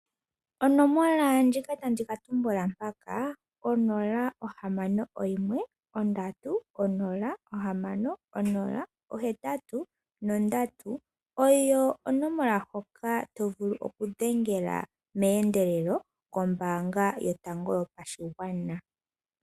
Onomola ndjika tandi tumbula mpaka 0613060 83 oyo onomola hoka to vulu okudhengela meendelelo meendelelo kombaanga yotango yopashigwana.